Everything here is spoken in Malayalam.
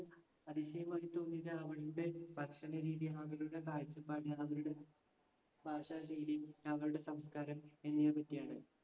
അതിശയമായി തോന്നിയത് അവരുടെ ഭക്ഷണരീതി, അവരുടെ കാഴ്ചപ്പാട്, അവരുടെ ഭാഷാശൈലി അവരുടെ സംസ്കാരം എന്നിവയൊക്കെയാണ്.